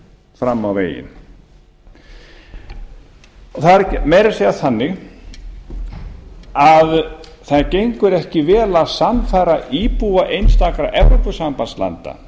fram á veginn það er meira að segja þannig að það gengur ekki vel að sannfæra íbúa einstakra evrópusambandslanda